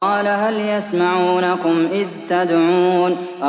قَالَ هَلْ يَسْمَعُونَكُمْ إِذْ تَدْعُونَ